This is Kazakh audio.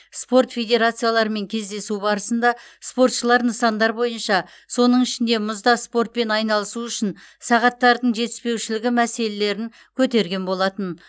спорт федерацияларымен кездесу барысында спортшылар нысандар бойынша соның ішінде мұзда спортпен айналысу үшін сағаттардың жетіспеушілігі мәселелерін көтерген болатын